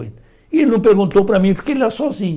E ele não perguntou para mim fiquei lá sozinho.